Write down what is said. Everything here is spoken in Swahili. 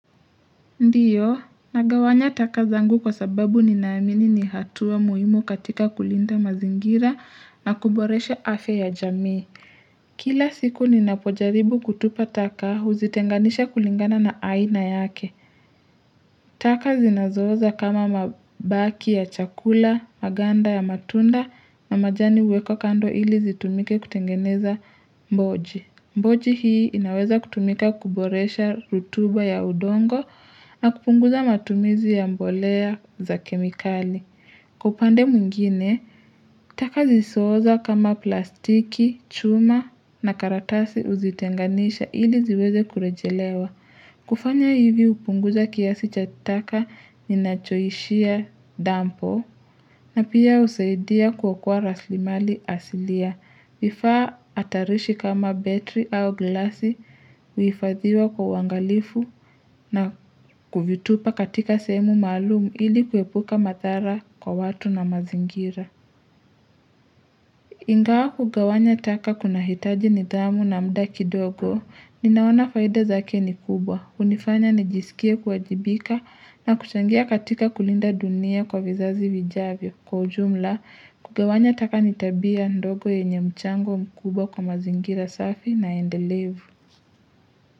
Ndiyo, nagawanya taka zangu kwa sababu ninaamini nihatua muhimu katika kulinda mazingira na kuboresha afya ya jamii. Kila siku ninapojaribu kutupa taka huzitenganisha kulingana na aina yake. Taka zinazo oza kama mabaki ya chakula, maganda ya matunda na majani huwekwa kando ili zitumike kutengeneza mboji. Mboji hii inaweza kutumika kuboresha rutuba ya udongo na kupunguza matumizi ya mbolea za kemikali. Kwa upande mwingine, taka zisozo oza kama plastiki, chuma na karatasi uzitenganisha ili ziweze kurejelewa. Kufanya hivi hupunguza kiasi chataka ni nachoishia dampo na pia husaidia kwa kuwa raslimali asilia. Vifaa hatarishi kama betri au glasi huifadhiwa kwa uangalifu na kuvitupa katika sehemu maalmu ili kuepuka madhara kwa watu na mazingira. Ingawa kugawanya taka kuna hitaji nidhamu na muda ki dogo. Ninaona faida zake ni kubwa. hUnifanya nijisikie kuajibika na kuchangia katika kulinda dunia kwa vizazi vijavyo. Kwa ujumla, kugawanya taka nitabia ndogo yenye mchango mkuwba kwa mazingira safi na endelevu.